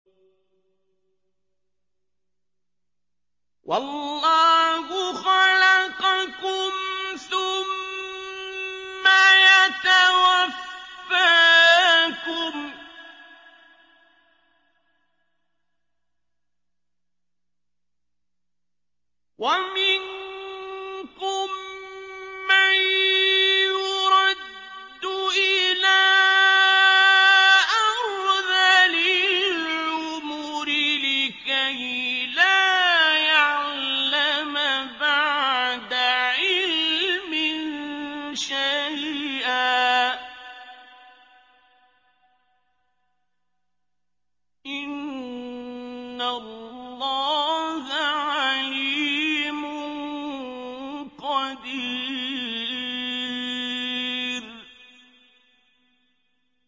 وَاللَّهُ خَلَقَكُمْ ثُمَّ يَتَوَفَّاكُمْ ۚ وَمِنكُم مَّن يُرَدُّ إِلَىٰ أَرْذَلِ الْعُمُرِ لِكَيْ لَا يَعْلَمَ بَعْدَ عِلْمٍ شَيْئًا ۚ إِنَّ اللَّهَ عَلِيمٌ قَدِيرٌ